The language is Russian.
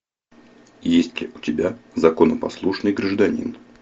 есть ли у тебя законопослушный гражданин